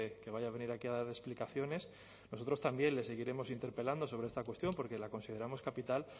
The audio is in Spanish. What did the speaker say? que vaya a venir aquí a dar explicaciones nosotros también le seguiremos interpelando sobre esta cuestión porque la consideramos capital